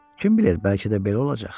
Kim bilir, bəlkə də belə olacaq.